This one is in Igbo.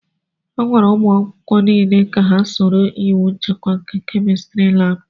Agwara umu akwukwo n'ile ka ha soro iwu nchekwa nke kémistiri láábu